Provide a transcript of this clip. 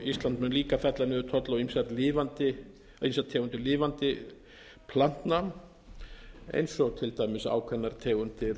ísland mun líka fella niður tolla á ýmsar tegundir lifandi plantna eins og til dæmis ákveðnar tegundir